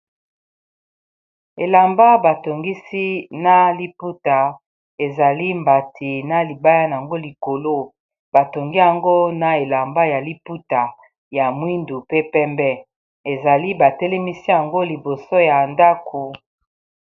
Elamba batongisi na liputa, ezali mbati na libaya na ngo likolo. Ba tongi yango na elamba ya liputa ya mwindu, pe pembe. Ezali, ba telemisi yango liboso ya ndako.